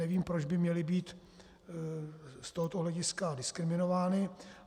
Nevím, proč by měly být z tohoto hlediska diskriminovány.